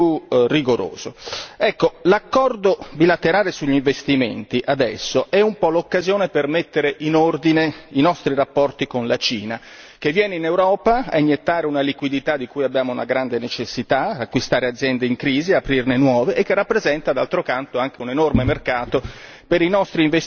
L'accordo bilaterale sugli investimenti adesso è un po' l'occasione per mettere in ordine i nostri rapporti con la Cina che viene in Europa a iniettare una liquidità di cui abbiamo una grande necessità, acquistare aziende in crisi, aprirne nuove e che rappresenta d'altro canto anche un enorme mercato per i nostri investitori che vogliono produrre in Cina.